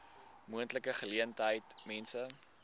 moontlike geleentheid mense